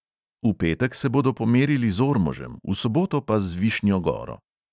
V petek se bodo pomerili z ormožem, v soboto pa z višnjo goro.